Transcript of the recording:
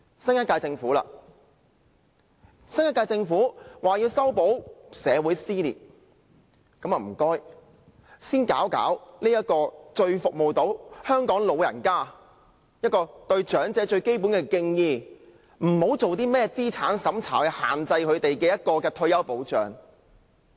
新一屆政府說要修補社會撕裂，那麼請先處理這個最能服務香港長者的退休保障，向長者表示最基本的敬意，不要以甚麼資產審查來對他們施加限制。